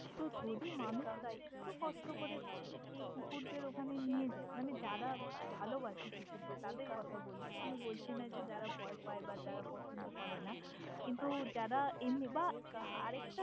তহ যদি মানুষ রা একটু কষ্ট করে সেই কুকুরদের ওখানে নিয়ে যায় মানে যারা ভালবাসে কুকুরদের তাদের কথা বলছি আমি বলছি না যে যারা ভয় পায় বা যারা পছন্দ করে না কিন্তু যারা এমনি বা আরেকটা।